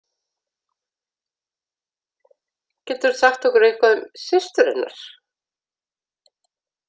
Geturðu sagt okkur eitthvað um systur hennar?